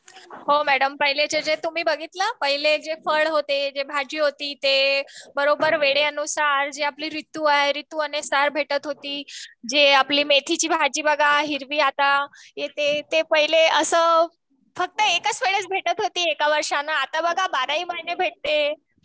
हो मॅडम पाहिलेचे जे तुम्ही बघितला? जे भाजी चे जे फळ होते जे वेळेअनुसर आपली जी रितू आहे रितू आणि सर भेटत होती जे आपली मेथीची भाजी बघा हिरवी आता येते पाहिले फक्त एकाच वेळेस भेटत होती वर्षाने आता बघा बाराही महिने भेटते.